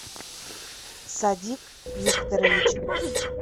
садик викторович